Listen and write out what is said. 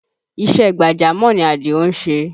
Iṣẹ́ gbàjámọ̀ ni Àdìó ń ṣe